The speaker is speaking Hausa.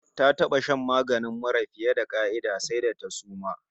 Ta taba shan maganin mura fiye da ƙa'ida, sai da ta suma!